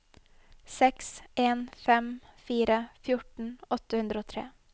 seks en fem fire fjorten åtte hundre og tre